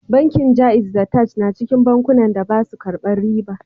Bankin Jaiz da Taj na cikin bankunan da ba su karban riba